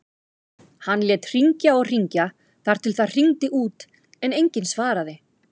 Hann lét hringja og hringja þar til það hringdi út en enginn svaraði.